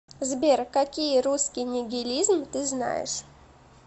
сбер какие русский нигилизм ты знаешь